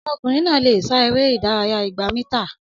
Ọmọkùnrin náà lè sá eré ìdárayá igba mítà